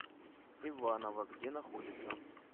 иваново где находится